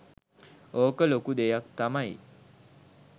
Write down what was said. ඕක ලොකු දෙයක් තමයි